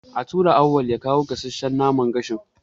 Ya tura Auwal ya kawo gasasshan naman gashin.